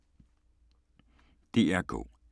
DR K